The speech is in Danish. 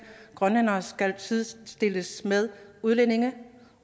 at grønlændere skal sidestilles med udlændinge